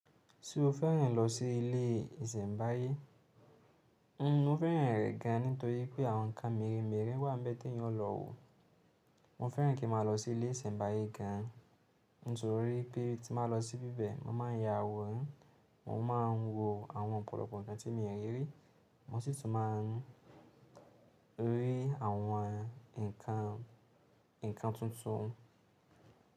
Ṣé o féràn lọ sí ilé ìsẹ̀mbáyé? Mo féràn rẹ̀ gan nítorí pé àwọn nǹkan mèremère wà ń bẹ́ te èèyàn o lọ wo. Mo féràn kí ń máa lọ sí ilé ìsẹ̀mbáyé gan, nítorí pé tí m bá lọ sí bí bẹ̀, màá ya àwòrán, mò ma ń wo àwọn ọ̀pọ̀lọpọ̀ nǹkan tí mi rí rí, mo sì tún máa ń rí àwọn nǹkan tuntun.